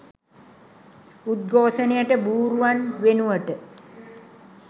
උද්ඝෝෂණයට බූරුවන් වෙනුවට